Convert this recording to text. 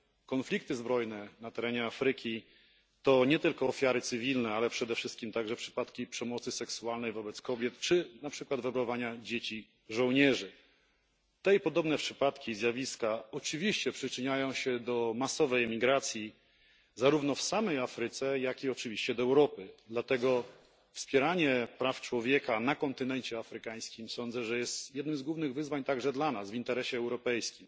Konflikty zbrojne na terenie Afryki to nie tylko ofiary cywilne, ale przede wszystkim także przypadki przemocy seksualnej wobec kobiet czy na przykład werbowania dzieci żołnierzy. Te i podobne przypadki i zjawiska oczywiście przyczyniają się do masowej emigracji zarówno w samej Afryce, jak i oczywiście do Europy, dlatego sądzę, że wspieranie praw człowieka na kontynencie afrykańskim jest jednym z głównych wyzwań także dla nas, w interesie europejskim.